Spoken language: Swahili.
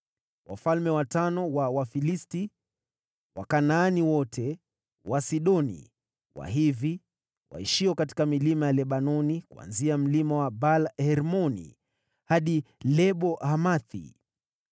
wafalme watano wa Wafilisti, Wakanaani wote, Wasidoni, Wahivi waishio katika milima ya Lebanoni kuanzia Mlima wa Baal-Hermoni hadi Lebo-Hamathi.